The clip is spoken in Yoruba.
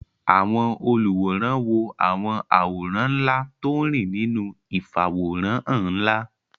Àwọn olùwòran wo àwọn àwòrán ńlá tó ń rìn nínú ìfàwòránhàn ńlá